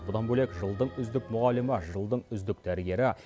бұдан бөлек жылдың үздік мұғалімі жылдың үздік дәрігері